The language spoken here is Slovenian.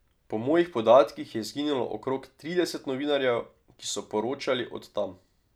Po mojih podatkih je izginilo okrog trideset novinarjev, ki so poročali od tam.